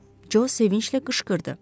Co sevincli qışqırdı.